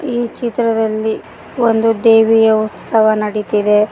ಈ ಚಿತ್ರದಲ್ಲಿ ಒಂದು ದೇವಿಯ ಉತ್ಸವ ನಡಿತಿದೆ.